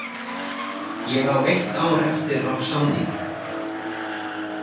Ég á eitt ár eftir af samning.